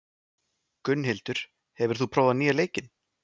Gunnhildur, hefur þú prófað nýja leikinn?